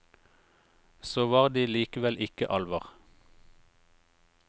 Så var de likevel ikke alver.